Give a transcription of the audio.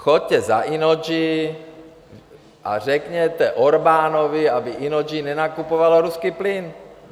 Choďte za Innogy a řekněte Orbánovi, aby Innogy nenakupovalo ruský plyn.